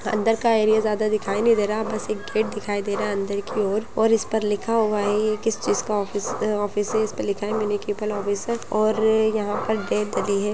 अंदर का एरिया ज्यादा दिखाई नहीं दे रहा बस एक गेट दिखाई दे रहा है अंदर की ओर और इस पर लिखा हुआ है ये किस चीज का ऑफिस है इस पे लिखा है मेन्यूकिपल ऑफिस है और यहा पर डेट डली है।